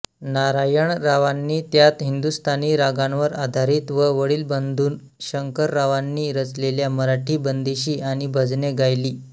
नारायणरावांनी त्यांत हिंदुस्तानी रागांवर आधारित व वडील बंधू शंकररावांनी रचलेल्या मराठी बंदिशी आणि भजने गायली